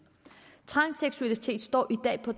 transseksualitet står i dag på